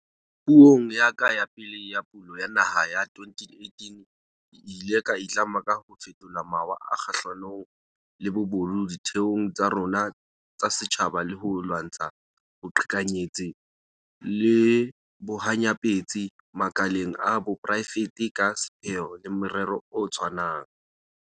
Puong ya ka ya pele ya Pulo ya Naha, ka 2018, ke ile ka itlama ka ho fetola mawa kgahlanong le bobodu ditheong tsa rona tsa setjhaba le ho lwantsha boqhekanyetsi le bohanyapetsi makaleng a poraefete ka sepheo le morero o tshwanang.